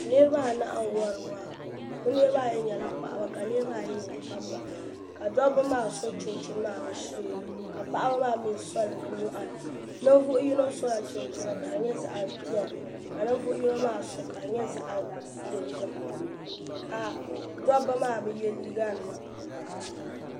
niraba anahi n wori waa bi niraba ayi nyɛla paɣaba ka niraba ayi nyɛ dabba ka dabba maa so chinchini maa bi sheeni ka paɣaba maa mii soli bi nyoɣani ninvuɣu yino sola chinchini ka di nyɛ zaɣ piɛlli ka ninvuɣu yino maa so ka di nyɛ zaɣ dozim ka dabba maa bi yɛ liiga nima